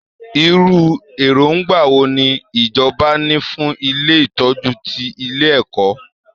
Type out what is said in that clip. Irú èròǹgbà wo ni ìjọba ní fún ilé ìtọ́jú ti ilé ẹ̀kọ́?